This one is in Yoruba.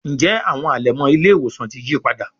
Njé Àwọn alẹmọ ile-iwosan tí yípadà?